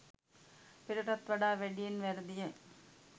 පෙරටත් වඩා වැඩියෙන් වැරදිය.